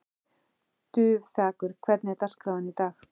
Dufþakur, hvernig er dagskráin í dag?